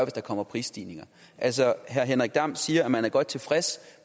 der kommer prisstigninger altså herre henrik dam kristensen siger at man er godt tilfreds